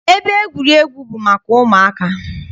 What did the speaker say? Ebe egwuregwu bụ maka ụmụaka.